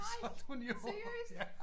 Nej seriøst?